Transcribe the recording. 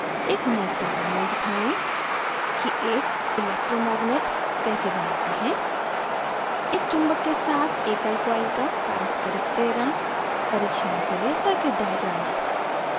एक नियत कार्य में दिखाएँ कि एक electromagnet विद्युत चुम्बक कैसे बनाते हैं